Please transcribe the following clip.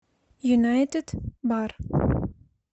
юнайтед бар